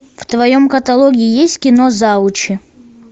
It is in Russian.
в твоем каталоге есть кино завучи